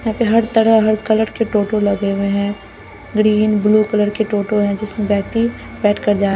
यहाँ पे हर तरह हर कलर के टोटो लगे हुए हैं ग्रीन ब्लू कलर के टोटो है जिसमें व्यक्ति बैठ कर जा --